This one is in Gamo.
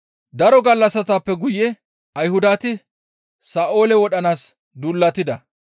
Daro gallassatappe guye Ayhudati Sa7oole wodhanaas duulatida.